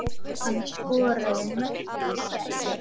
Hann skoraði mörk í gær.